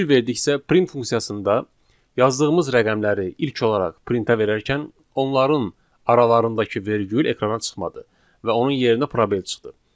Fikir verdiksə, print funksiyasında yazdığımız rəqəmləri ilk olaraq printə verərkən onların aralarındakı vergül ekrana çıxmadı və onun yerinə probel çıxdı.